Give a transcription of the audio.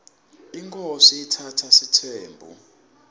inkhosi itsatsa sitsembu